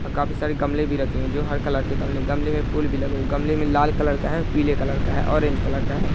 काफी सारे गमले भी रखे हुए है जो हर कलर के गमले गमले मे फूल भी लगे है गमले मे लाल कलर का है पीले कलर का है ऑरेंज कलर का है।